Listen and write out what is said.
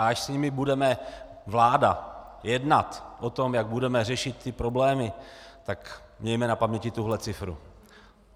A až s nimi bude vláda jednat o tom, jak budeme řešit ty problémy, tak mějme na paměti tuhle cifru.